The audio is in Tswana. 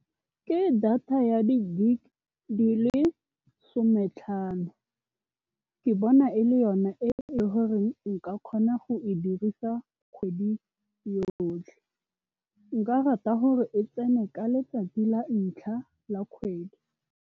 Ke data ya di-gig di le sometlhano. Ke bona e le yona e le goreng nka kgona go e dirisa kgwedi yotlhe. Nka rata gore e tsene ka letsatsi la ntlha la kgwedi.